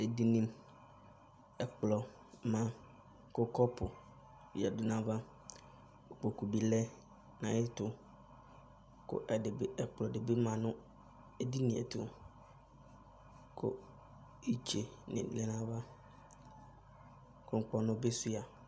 Edini, ɛkplɔ ma kʋ kɔpʋ yǝdʋ nʋ ayʋ ava, kʋ kpokʋ bɩlɛ nʋ ayʋ ɛtʋ, kʋ ɛkplɔ dɩ bɩ ma nʋ edini yɛ ɛtʋ, kʋ itse yǝdʋ nʋ ayʋ ava, kʋ ŋkpɔnʋ bɩ shʋa